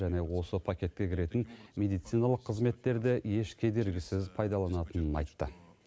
және осы пакетке кіретін медициналық қызметтерді еш кедергісіз пайдаланатынын айтты